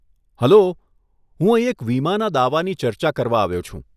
Hello, હું અહીં એક વીમાના દાવાની ચર્ચા કરવા આવ્યો છું.